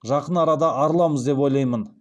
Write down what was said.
жақын арада арыламыз деп ойлаймын